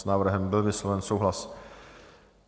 S návrhem byl vysloven souhlas.